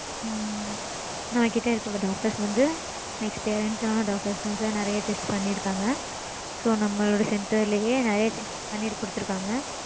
உம் நம்ம கிட்ட இருக்க doctors வந்து experience ஆன doctors தா sir. நெறைய test பண்ணிருப்பாங்க. so நம்மளுடைய center லயே நெறைய test பண்ணி கொடுத்துருக்காங்க.